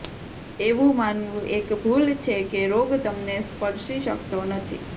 એવું માનવું એક ભૂલ છે કે રોગ તમને સ્પર્શી શકતો નથી